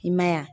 I ma ye wa